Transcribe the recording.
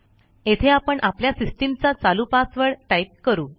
येथे आपण आपल्या सिस्टीमचा चालू पासवर्ड टाईप करू